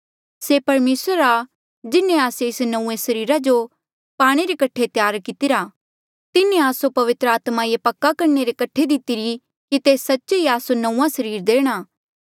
से परमेसरा आ जिन्हें आस्से एस नंऊँऐं सरीरा जो पाणे रे कठे त्यार कितिरा तिन्हें आस्सो पवित्र आत्मा ये पक्का करणे रे कठे दितिरी कि तेस सच्चे ही आस्सो नंऊँआं सरीर देणा